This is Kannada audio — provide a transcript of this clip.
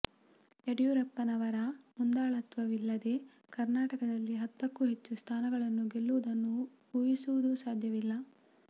ಯಡಿಯೂರಪ್ಪನವರ ಮುಂದಾಳತ್ವವಿಲ್ಲದೆ ಕರ್ನಾಟಕದಲ್ಲಿ ಹತ್ತಕ್ಕೂ ಹೆಚ್ಚು ಸ್ಥಾನಗಳನ್ನು ಗೆಲ್ಲುವುದನ್ನು ಊಹಿಸುವುದೂ ಸಾಧ್ಯವಿಲ್ಲ